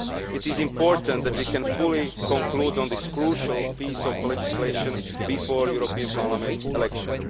It is important that we can fully conclude on this crucial piece of legislation before the European Parliament elections.